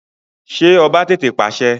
Ṣé ọba tètè pàṣẹ?